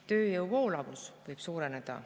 Tööjõu voolavus võib suureneda.